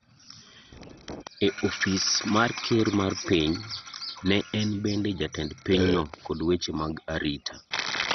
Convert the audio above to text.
e ofis mar ker mar piny, ne en bende jatend pinyno kod weche mag arita.